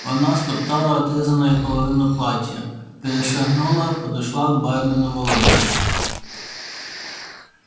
она стоптала отрезанную половину платья перешагнула подошла к бармену володе